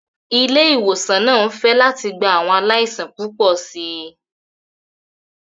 Ilé ìwòsàn náà ń fẹ̀ láti gba àwọn aláìsàn púpọ̀ sí i.